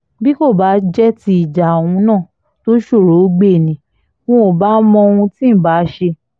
bí kò sì jẹ́ tí ìjà òun náà tó ṣòroó gbé ni ǹ bá mọ ohun tí ǹ bá ṣe